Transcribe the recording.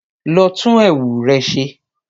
Lọ tún ẹwù rẹ ṣe